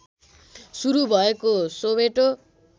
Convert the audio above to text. सुरु भएको सोवेटो